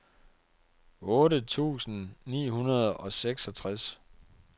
otte tusind ni hundrede og seksogtres